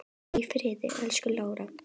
Hvíldu í friði, elsku Lára.